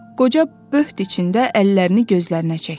Qoca böht içində əllərini gözlərinə çəkdi.